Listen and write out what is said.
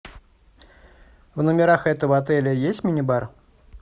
в номерах этого отеля есть мини бар